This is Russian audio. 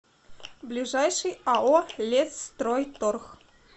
ближайший ао лесстройторг